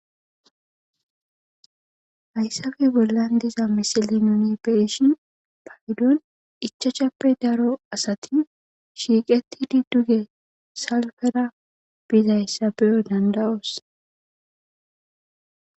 Hayssafe bollan diza misileza nu be7ishin gede ichachappe daro gidiza asati salfettidi duge salfera bizayssa beyo dandda7oos.